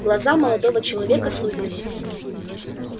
глаза молодого человека сузились